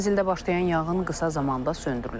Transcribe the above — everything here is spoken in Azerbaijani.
Mənzildə başlayan yanğın qısa zamanda söndürülüb.